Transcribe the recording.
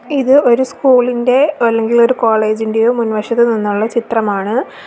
ഇത് ഒരു സ്കൂൾ ഇന്റെ അല്ലെങ്കിൽ ഒരു കോളേജ് ഇന്റെയോ മുൻവശത്ത് നിന്നുള്ള ചിത്രമാണ്.